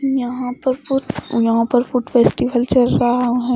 यहां पर कुछ और यहां पर कुछ फेस्टिवल चल रहा है।